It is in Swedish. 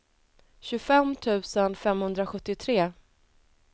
tjugofem tusen femhundrasjuttiotre